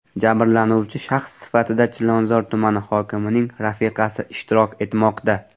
Jabrlanuvchi shaxs sifatida Chilonzor tumani hokimining rafiqasi ishtirok etmoqda.